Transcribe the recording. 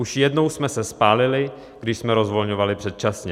Už jednou jsme se spálili, když jsme rozvolňovali předčasně.